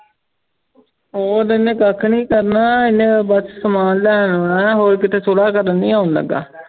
ਉਹ ਤੇ ਓਨੇ ਕੱਖ ਨਾਈ ਕਰਨਾ ਐਨੇ ਬਸ ਸਮਾਂ ਲੈਣ ਆਉਣਾ ਹੋਰ ਕਿਥੇ ਸੁਲਾ ਕਰਨ ਨਾਈ ਆਉਣ ਲਗਾ